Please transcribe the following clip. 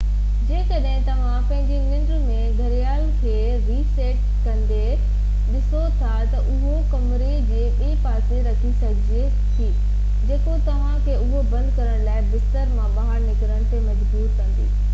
جيڪڏهن توهان پنهنجي ننڊ ۾ گهڙيال کي ري سيٽ ڪندي ڏسو ٿا ته اهو ڪمري جي ٻئي پاسي رکي سگهجي ٿي جيڪو توهان کي اهو بند ڪرڻ لاءِ بستر مان ٻاهر نڪرڻ تي مجبور ڪندي